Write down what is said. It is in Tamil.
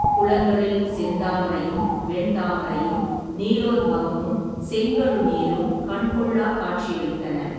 குளங்களில், செந்தாமரையும் வெண்தாமரையும், நீலோத்பவமும், செங்கழுநீரும், கண்கொள்ளாக் காட்சியளித்தன.